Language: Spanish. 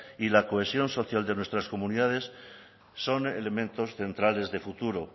y la cohesión social de nuestras comunidades son elementos centrales de futuro